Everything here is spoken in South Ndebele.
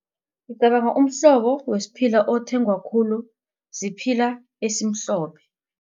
Ngicabanga umhlobo wesiphila othengwa khulu siphila esimhlophe.